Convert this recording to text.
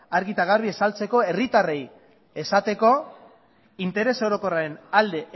argi eta garbi herritarrei azaltzeko interes orokorraren alde